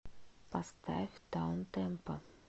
поставь даунтемпо